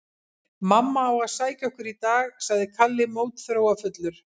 Mamma á að sækja okkur í dag, sagði Kalli mótþróafullur.